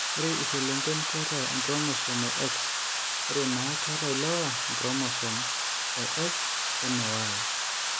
Ore iselengen keeta inchromosomes eX are naa keeta ilewa enchromosome eX oene Y.